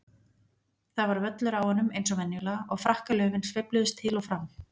Það var völlur á honum eins og venjulega og frakkalöfin sveifluðust til og frá.